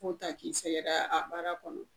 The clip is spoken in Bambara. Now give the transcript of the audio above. Ko ta k'i sɛgɛrɛ a baara kɔnɔ